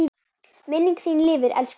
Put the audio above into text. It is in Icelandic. Minning þín lifir, elsku pabbi.